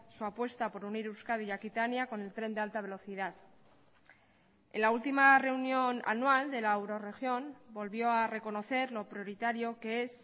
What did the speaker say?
su apuesta por unir euskadi y aquitania con el tren de alta velocidad en la última reunión anual de la eurorregión volvió a reconocer lo prioritario que es